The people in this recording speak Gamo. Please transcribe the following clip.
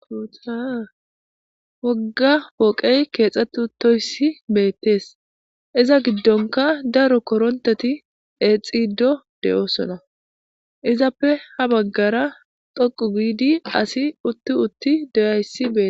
Awogga pooqey keexxeti uttoyssi beettees iza giddonka daro koronteti exido de7oosona izappe ha baggara doqu giidi asi utti utti doyayssi bee.